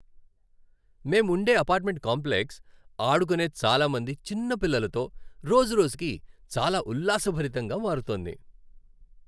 మేముండే apartment complex ఆడుకునే చాలా మంది చిన్న పిల్లలతో రోజురోజుకు చాలా ఉల్లాసభరితంగా మారుతోంది.